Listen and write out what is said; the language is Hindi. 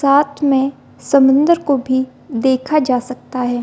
साथ मे समुंदर को भी देखा जा सकता है |